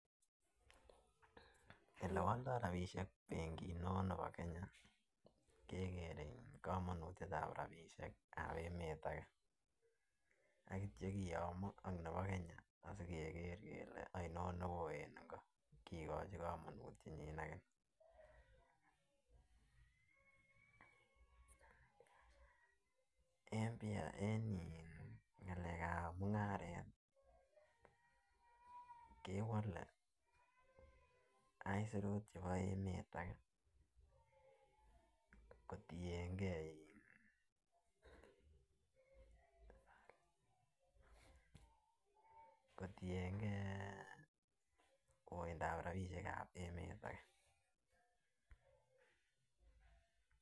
Ele woldoi rabinik benkit neo Kenya keker kamanutyet ab rabishek ab emet ake akityo kiyomo ak nebo Kenya asikeker kele ainon newoo en iko asikikochi kamanutyenyi ake en ngalek ab mungaret kewole asirut chebo emet ake kotien kei ii uitap rabinik en emet ake.